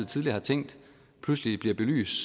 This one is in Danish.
tidligere har tænkt pludselig bliver belyst